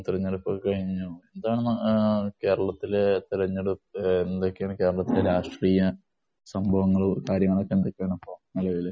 തെരഞ്ഞെടുപ്പ് ഒക്കെ കഴിഞ്ഞു. എന്താണ് കേരളത്തിലെ തെരെഞ്ഞെടുപ്പ് എന്തൊക്കെയാണ് കേരളത്തിലെ രാഷ്ട്രീയ സംഭവങ്ങളും, കാര്യങ്ങളൊക്കെ എന്തൊക്കെയാണ് ഇപ്പൊ നെലവില്.